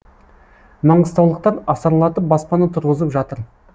маңғыстаулықтар асарлатып баспана тұрғызып жатыр